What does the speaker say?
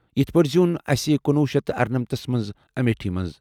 یِتھ پٲٹھۍ زیٛوٗن اَسہِ کُنوُہ شیتھ تہٕ ارنمتھس منٛز امیٹھی منٛز۔